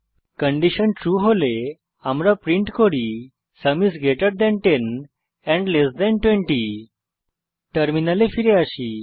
condition true হলে আমরা print করি sum is greater than 10 and less than 20 টার্মিনালে ফিরে আসি